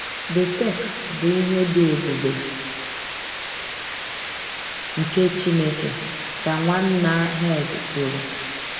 “ the text bụ ihe dị ebube nke Chineke, ” ka Nwanna Herd kwuru.